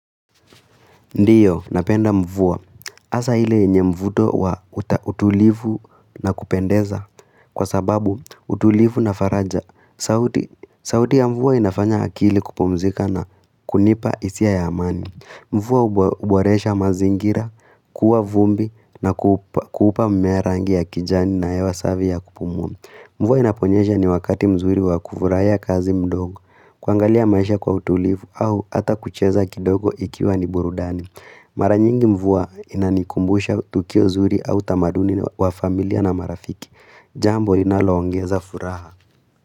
Ndiyo, napenda mvua. Hasa ile yenye mvuto wa utulivu na kupendeza. Kwa sababu, utulivu na faraja. Sauti ya mvua inafanya akili kupumzika na kunipa hisia ya amani. Mvua huboresha mazingira, kuwa vumbi na kupa mmea rangi ya kijani na hewa safi ya kupumua. Mvua inaponyesha ni wakati mzuri wa kufurahia kazi mdogo, kuangalia maisha kwa utulivu au hata kucheza kidogo ikiwa ni burudani. Mara nyingi mvua inanikumbusha tukio zuri au tamaduni wa familia na marafiki. Jambo inaloongeza furaha.